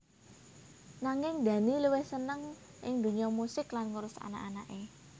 Nanging Dhani luwih seneng ing dunya musik lan ngurus anak anaké